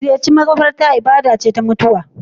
Ziyarar makabarta ibada ce ta mutuwa.